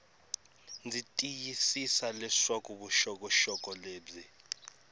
ndzi tiyisisa leswaku vuxokoxoko lebyi